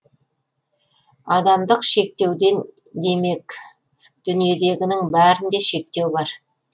адамдық шектеумен демек дүниедегінің бәрінде шектеу бар